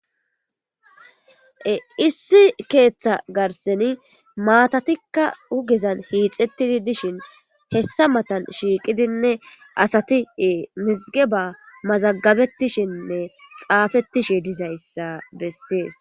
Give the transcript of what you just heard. issi keeththa garseni maatatikka ugezan hiixettidi dishin hessa matan shiiqidinne asatie mizige ba mazagabetishinne xaafettishe dizayssa bessees